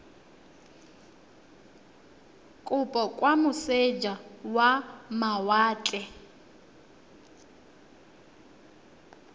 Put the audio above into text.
kopo kwa moseja wa mawatle